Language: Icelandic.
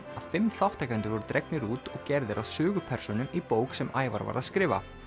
að fimm þátttakendur voru dregnir út og gerðir að sögupersónum í bók sem Ævar var að skrifa